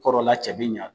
Kɔrɔla cɛ bi ɲa